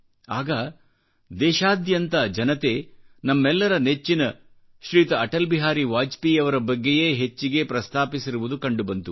ಆಗ ದೇಶಾದ್ಯಂತದ ಜನತೆ ನಮ್ಮೆಲ್ಲರ ನೆಚ್ಚಿನ ಶ್ರೀಯುತಅಟಲ್ ಬಿಹಾರಿ ವಾಜಪೇಯಿಯವರ ಬಗ್ಗೆಯೇ ಹೆಚ್ಚಿಗೆ ಪ್ರಸ್ತಾಪಿಸಿರುವುದು ಕಂಡುಬಂತು